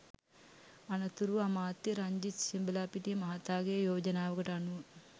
අනතුරුව අමාත්‍ය රංජිත් සියඹලාපිටිය මහතාගේ යෝජනාවකට අනුව